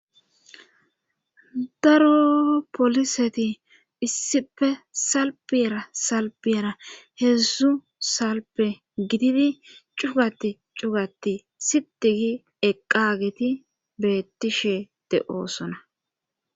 daro poliseti issife salfiyera salpiyera heedzdzu salpe gididi cugati cugati sitigi eqqageti beettishe de7osona